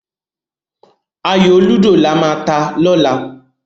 Ayò lúdò lama ta lọ́la.